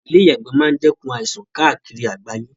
Ìle ìyàgbẹ́ ma n dẹ́kun àìsan kaàkiri àgbáyé